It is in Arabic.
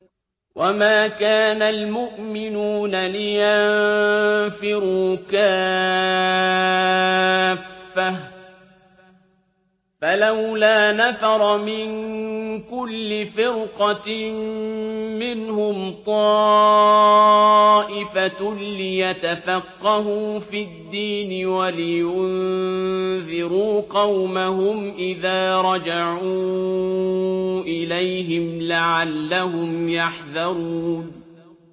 ۞ وَمَا كَانَ الْمُؤْمِنُونَ لِيَنفِرُوا كَافَّةً ۚ فَلَوْلَا نَفَرَ مِن كُلِّ فِرْقَةٍ مِّنْهُمْ طَائِفَةٌ لِّيَتَفَقَّهُوا فِي الدِّينِ وَلِيُنذِرُوا قَوْمَهُمْ إِذَا رَجَعُوا إِلَيْهِمْ لَعَلَّهُمْ يَحْذَرُونَ